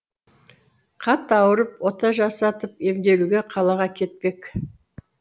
қатты ауырып ота жасатып емделуге қалаға кетпек